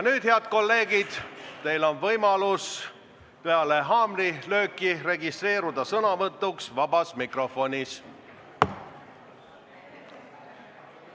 Nüüd, head kolleegid, on teil võimalus peale haamrilööki registreeruda sõnavõtuks vabas mikrofonis.